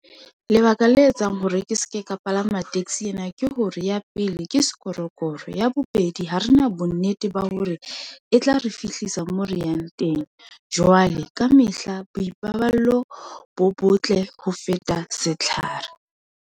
Lebaka le etsang hore ke seke ka palama taxi ena, ke hore ya pele ke sekorokoro, ya bobedi ha rena bonnete ba hore e tla re fihlisa mo re yang teng. Jwale kamehla boikarabelo bo botle ho feta setlhare.